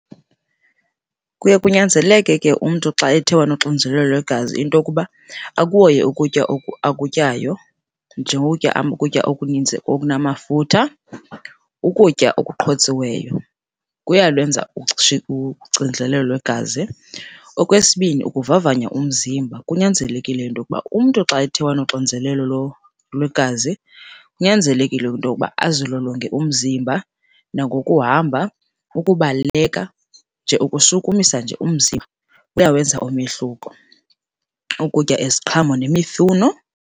Kuye kunyanzeleke ke umntu xa ethe wanoxinzelelo lwegazi into yokuba akuhoye ukutya akutyayo njengokutya ukutya okuninzi okunamafutha, ukutya okuqhotsiweyo, kuyalwenza uxinzelelo lwegazi. Okwesibini, ukuvavanya umzimba. Kunyanzelekile into yokuba umntu xa ethe wanoxinzelelo lwegazi, kunyanzelekile into yoba azilolonge umzimba nangokuhamba, ukubaleka, nje ukushukumisa nje umzimba kuyawenza umehluko. Ukutya iziqhamo nemifuno.